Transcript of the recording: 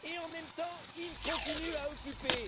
et en même temps, ils continuent à occuper.